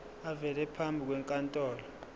avele phambi kwenkantolo